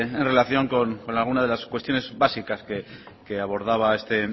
en relación con algunas de las cuestiones básicas que abordaba este